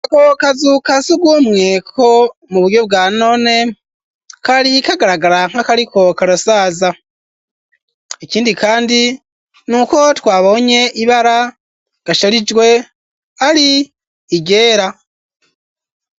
Ako kazu kasugumwe ko mu buryo bwa none kari kagaragara nka kariko karasaza ikindi kandi nuko twabonye ibara gasharijwe ari iryera